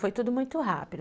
Foi tudo muito rápido.